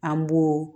An b'o